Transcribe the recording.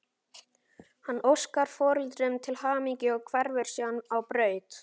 Hann óskar foreldrunum til hamingju og hverfur síðan á braut.